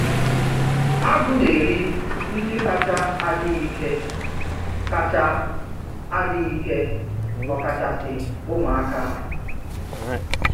Agụ na-eri ndị kacha adịghị ike, kacha adịghị ike, ọkachasị ụmụaka.